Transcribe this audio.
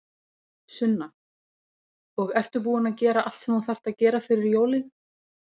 Sunna: Og ertu búin að gera allt sem þú þarft að gera fyrir jólin?